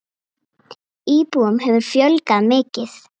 Íbúum hefur fjölgað mikið.